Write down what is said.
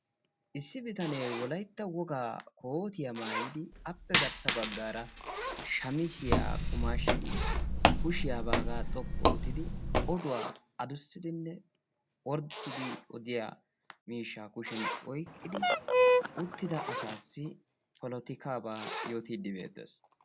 Issi bitane wolaytta wogaa koottiya maayidi appe garssa baggaara shamiziya qumaashidi kushiya baagaa xoqqu oottidi oduwa adussidinne orddissidi odiya miishsha kushiyan oyiqqidi uttida asaassi polottikkaba yootiiddi beettes